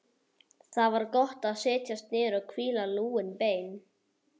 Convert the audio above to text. Það var gott að setjast niður og hvíla lúin bein.